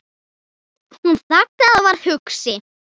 Hún þagði og var hugsi.